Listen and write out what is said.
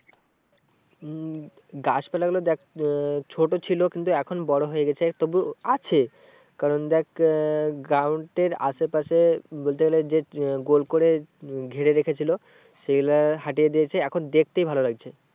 উম গাছ দেখ আহ ছোটো ছিল কিন্তু এখন বড়ো হয়ে গেছে তবু আছে কারণ দেখ আহ ground এর আশেপাশে বলতে গেলে যে গোল করে উম ঘিরে রেখেছিলো সেইগুলো দিয়েছে। এখন দেখতেই ভালো লাগছে।